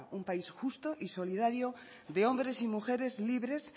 un país justo y solidario de hombres y mujeres libres